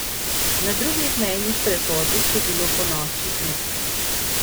Na drugih mejnih prehodih je bilo ponoči mirno.